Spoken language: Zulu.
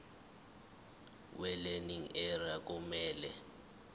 welearning area kumele